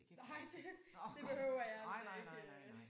Nej det det behøver jeg altså ikke